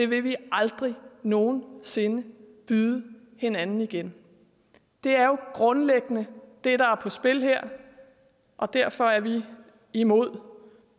vil vi aldrig nogen sinde byde hinanden i igen det er jo grundlæggende det der er på spil her og derfor er vi imod